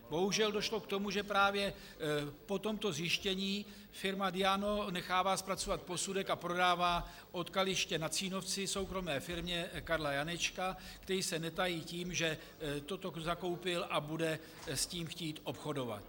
Bohužel došlo k tomu, že právě po tomto zjištění firma Diamo nechává zpracovat posudek a prodává odkaliště na Cínovci soukromé firmě Karla Janečka, který se netají tím, že toto zakoupil a bude s tím chtít obchodovat.